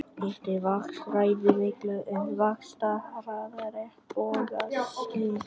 Hiti vatns ræður miklu um vaxtarhraða regnbogasilungs.